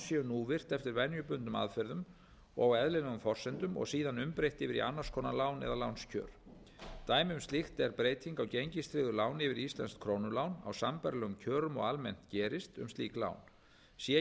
núvirt eftir venjubundnum aðferðum og eðlilegum forsendum og síðan umbreytt yfir í annars konar lán eða lánskjör dæmi um slíkt er breyting á gengistryggðu láni yfir í íslenskt krónulán á sambærilegum kjörum og almennt gerist um slík lán sé